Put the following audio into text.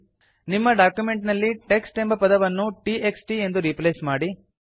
ನಿಮ್ಮ ಡಾಕ್ಯುಮೆಂಟ್ ನಲ್ಲಿ ಟೆಕ್ಸ್ಟ್ ಎಂಬ ಪದವನ್ನು t x t ಎಂದು ರೀಪ್ಲೇಸ್ ಮಾಡಿ